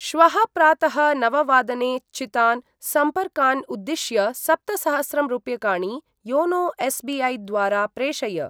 श्वः प्रातः नववादने चितान् सम्पर्कान् उद्दिश्य सप्तसहस्रं रूप्यकाणि योनो एस्.बी.ऐ. द्वारा प्रेषय।